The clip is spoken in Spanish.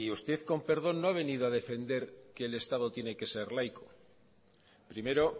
usted con perdón no ha venido a defender que el estado tiene que ser laico primero